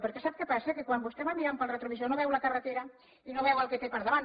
perquè sap què passa que quan vostè va mirant pel retrovisor no veu la carretera i no veu el que té al davant